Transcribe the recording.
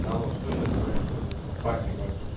алло что сейчас происходит с компанией вашей